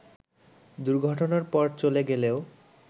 দুর্ঘটনার পর চলে গেলেও